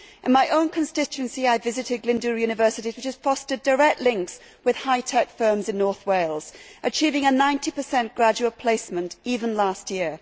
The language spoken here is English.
In my own constituency, I visited Glyndŵr University, which has fostered direct links with hi tech firms in North Wales, achieving a 90 graduate placement, even last year.